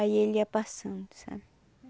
Aí ele ia passando, sabe?